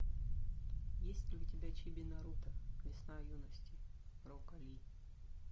есть ли у тебя чиби наруто весна юности рока ли